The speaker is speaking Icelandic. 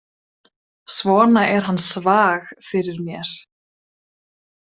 Svona er hann svag fyrir mér.